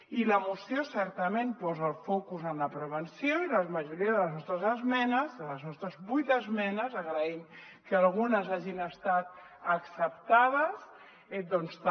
i la moció certament posa el focus en la prevenció i la majoria les nostres vuit esmenes agraïm que algunes hagin estat acceptades també